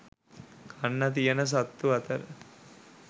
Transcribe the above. කන්න තියෙන සත්තු අතර